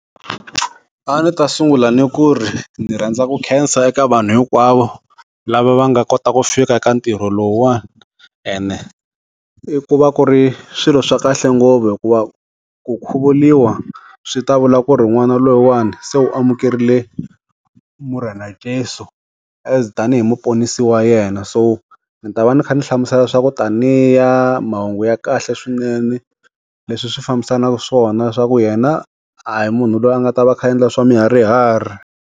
A ndzi ta sungula ni ku ri, ndzi rhandza ku khensa eka vanhu hinkwavo, lava va nga kota ku fika eka ntirho lowuwani. Ene, i ku va ku ri swilo swa kahle ngopfu hikuva ku khuvuriwa swi ta vula ku ri n'wana loyiwani se u amukerile morena jesu, as tanihi muponisi wa yena. So ni ta va ni kha ni hlamusela swa ku taniya mahungu ya kahle swinene, leswi swi fambisanaka swona swa ku yena, a hi munhu loyi a nga ta va a kha a endla swa miharihari.